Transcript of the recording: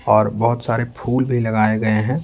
और बहुत सारे फूल भी लगाए गए हैं।